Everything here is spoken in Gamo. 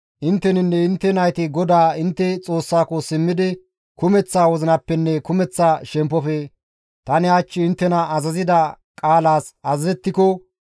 Intteninne intte nayti GODAA intte Xoossako simmidi kumeththa wozinappenne kumeththa shemppofe tani hach inttena azazida qaalaas azazettiko,